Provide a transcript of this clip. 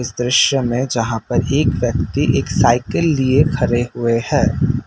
दृश्य में जहां पर एक व्यक्ति एक साइकिल लिए खड़े हुए है।